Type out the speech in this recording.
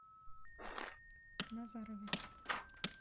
назарове